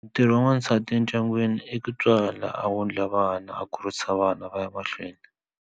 Ntirho wa n'wasati endyangwini i ku tswala a wundla vana a kurisa vana va ya mahlweni.